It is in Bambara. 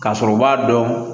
K'a sɔrɔ u b'a dɔn